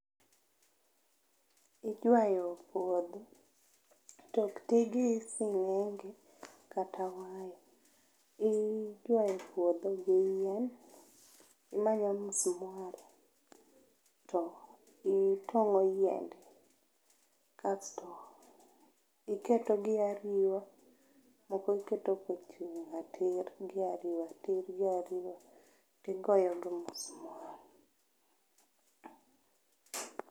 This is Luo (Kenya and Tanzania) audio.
Iywayo puodho to ok tii gi singenge kata waya, iywayo puodho gi yien imanyo musmwal to itongo yiende kasto iketo gi ariwa moko iketo kochung tir gi ariwa, tir gi ariwa tigoyo musmwal